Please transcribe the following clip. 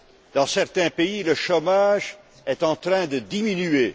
Dans certains pays, le chômage est en train de diminuer.